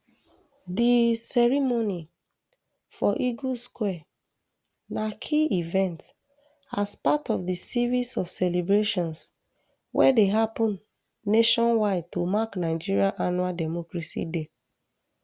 di ceremony for eagles square na key event as part of di series of celebrations wey dey happun nationwide to mark nigeria annual democracy day